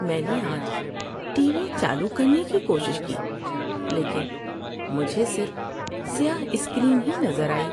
میں نے آج ٹی وی چالو کرنے کی کوشش کی لیکن مجھے صرف سیاہ اسکرین ہی نظر آئی۔